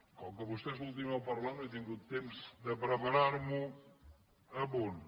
com que vostè és l’últim de parlar no he tingut temps de preparar m’ho a punt